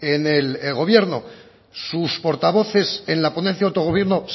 en el gobierno sus portavoces en la ponencia de autogobierno